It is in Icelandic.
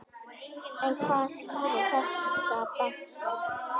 En hvað skýrir þessa fækkun?